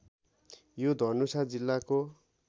यो धनुषा जिल्लाको